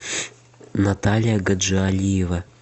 наталья гаджиалиева